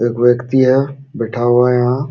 एक व्यक्ति है बैठा हुआ है यहाँ।